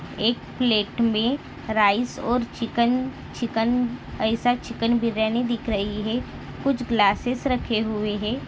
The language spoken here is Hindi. एक प्लेट में राईस और चिकन चिकन ऐसा चिकन बिर्याणी दिख रही है कुछ ग्लासेस रखे हुए है।